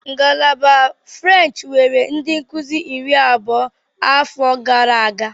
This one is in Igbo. Ngalaba French nwere ndị nkuzi iri abụọ afọ atọ gara aga.